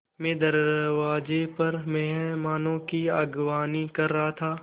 मैं दरवाज़े पर मेहमानों की अगवानी कर रहा था